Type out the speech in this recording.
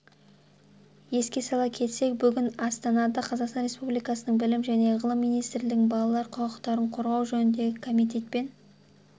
еске сала кетсек бүгін астанада қазақстан республикасының білім және ғылым министрлігінің балалар құқықтарын қорғау жөніндегі комитетпен